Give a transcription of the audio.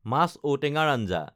মাছ ঔটেঙাৰ আঞ্জা